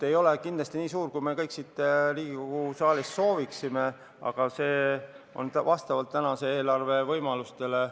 See ei ole kindlasti nii suur, kui me kõik siin Riigikogu saalis sooviksime, aga see on tehtud vastavalt tänase eelarve võimalustele.